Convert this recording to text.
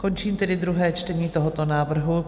Končím tedy druhé čtení tohoto návrhu.